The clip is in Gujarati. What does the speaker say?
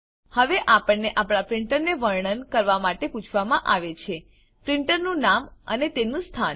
હવે આપણને આપણા પ્રીંટરને વર્ણન કરવા માટે પૂછવામાં આવે છે પ્રીંટરનું નામ અને તેનું સ્થાન